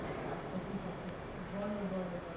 আচ্ছা ঠিক আছে বলো বলো বলো